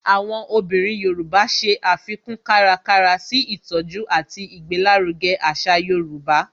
Àwọn obìnrin Yoruba ṣe àfikún kárakára sí ìtọjú àti ìgbéláruge àṣà yorùbá